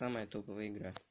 самая топовая игра